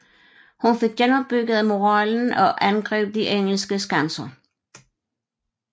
Hun fik genopbygget moralen og angreb de engelske skanser